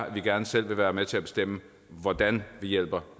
at vi gerne selv vil være med til at bestemme hvordan vi hjælper